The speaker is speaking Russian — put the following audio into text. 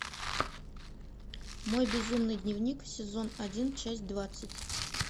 мой безумный дневник сезон один часть двадцать